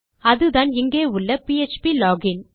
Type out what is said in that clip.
அதுதான் இங்கே உள்ள ப்ளோகின்